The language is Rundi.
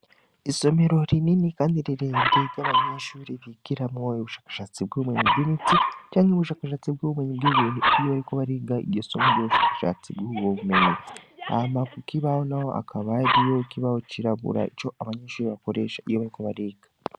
Isomero rinini, kandi rerere ry'abanyinshuri bikiramoyo ubushakashatsi bw'ubumenyi bw'imiti canke w'ubushakashatsi bw'ubumenyi bw'ibintu iyo bariko bariga igisomo ry'ubushakashatsi bw'uwobumenyi ahama ku kibaho na ho akabariyo kibaho cirabura ico abanyinshuri bakoresha iyo bariko bariga.